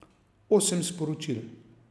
Osem sporočil.